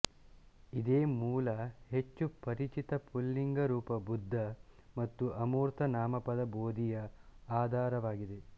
ಇದೇ ಮೂಲ ಹೆಚ್ಚು ಪರಿಚಿತ ಪುಲ್ಲಿಂಗ ರೂಪ ಬುದ್ಧ ಮತ್ತು ಅಮೂರ್ತ ನಾಮಪದ ಬೋಧಿಯ ಆಧಾರವಾಗಿದೆ